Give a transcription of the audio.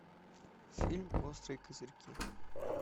фильм острые козырьки